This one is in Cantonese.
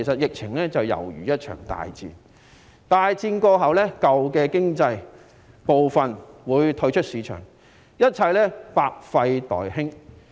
疫情猶如一場大戰，大戰過後，舊的經濟部分會退出市場，一切百廢待興。